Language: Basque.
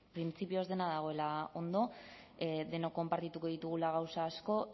printzipioz dena dagoela ondo denok konpartituko ditugula gauza asko